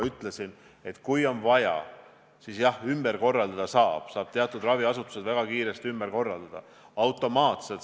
Nagu ma juba ütlesin, siis jah, kui on vaja, saab teatud raviasutused väga kiiresti ümber korraldada.